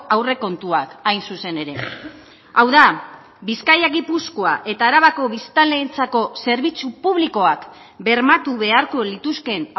aurrekontuak hain zuzen ere hau da bizkaia gipuzkoa eta arabako biztanleentzako zerbitzu publikoak bermatu beharko lituzkeen